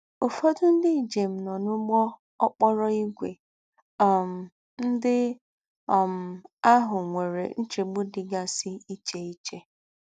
Ụ́fọ̀dọ̀ ndí́ ńjém nọ̀ n’úgbọ́ òkpòrò ígwḗ um ndí́ um àhù nwéré nchégbù dí́gásí íché íché